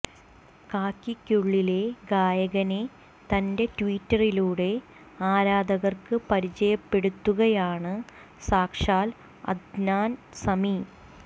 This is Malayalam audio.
കാക്കിക്കുള്ളിലെ ഗായകനെ തന്റെ ട്വീറ്റിലൂടെ ആരാധകർക്ക് പരിചയപ്പെടുത്തുകയാണ് സാക്ഷാൽ അദ്നാൻ സമി